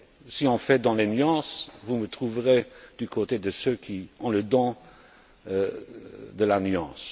Si on fait dans la nuance, vous me trouverez du côté de ceux qui ont le don de la nuance.